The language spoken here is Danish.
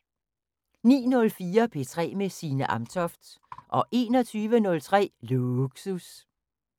09:04: P3 med Signe Amtoft 21:03: Lågsus